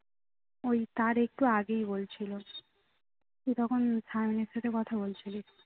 ওই তার একটু আগেই বলছিলো তুই তখন সায়ানের সাথে কথা বলছিলিস